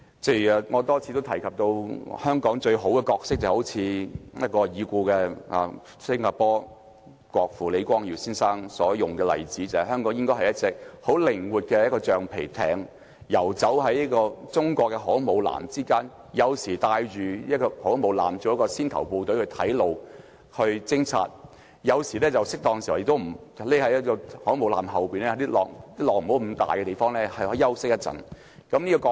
正如我多次提到，香港最好的角色，就像已故新加坡國父李光耀先生所引用的例子：香港應該是一隻很靈活的橡皮艇，游走於中國的航空母艦之間，有時帶領航空母艦，作為先頭部隊去探路、去偵察；適當時候亦要躲在航空母艦後面，在不太大浪的地方休息一會。